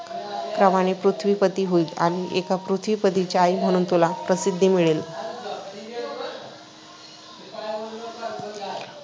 प्रमाणे पृथ्वीपती होईल आणि एका पृथ्वीपतीची आई म्हणून तुला प्रसिद्धी मिळेल. ’’.